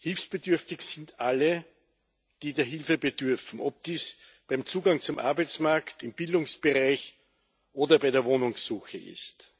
Hilfsbedürftig sind alle, die der Hilfe bedürfen, ob dies beim Zugang zum Arbeitsmarkt, im Bildungsbereich oder bei der Wohnungssuche ist.